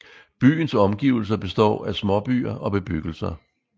Byens omgivelser består af småbyer og bebyggelser